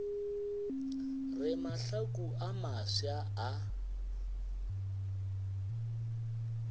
re mahlaku a mafsa a